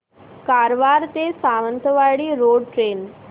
कारवार ते Sawantwadi road train